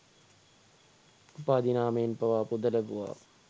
උපාධි නාමයෙන් පවා පුද ලැබුවා